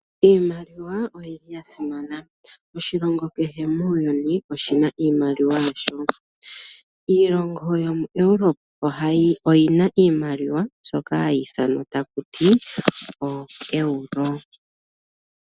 Iiimaliwa oyili ya simana oshilongo kehe muuyuni oshina iimaliwa yasho. Iilongo yomu Europe ohayi oyina iimaliwa mbyoka hayi ithamwa taku ti oEuro.